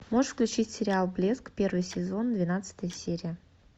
можешь включить сериал блеск первый сезон двенадцатая серия